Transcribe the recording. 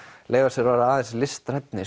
leyfa sér að vera aðeins listrænni